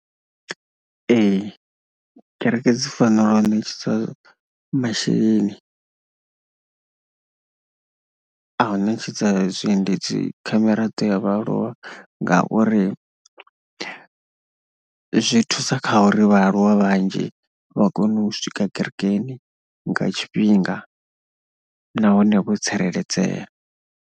Ee kereke dzi fanela u ṋetshedzwa masheleni. a u ṋetshedza zwiendedzi kha miraḓo ya vhaaluwa ngauri zwi thusa kha uri vhaaluwa vhanzhi vha kone u swika kerekeni nga tshifhinga nahone vho tsireledzea.